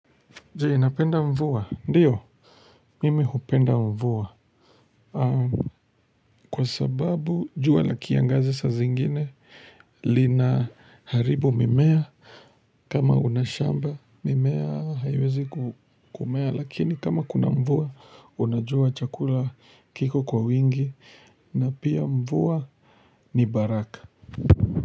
Je, napenda mvua. Ndiyo, mimi hupenda mvua. Kwa sababu, jua la kiangazi saa zingine, lina haribu mimea. Kama unashamba, mimea hayawezi kumea. Lakini kama kuna mvua, unajua chakula kiko kwa wingi. Na pia mvua ni baraka.